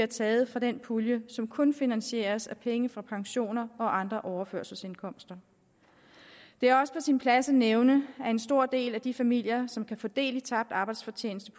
tages fra den pulje som kun finansieres af penge fra pensioner og andre overførselsindkomster det er også på sin plads at nævne at en stor del af de familier som kan få del i tabt arbejdsfortjeneste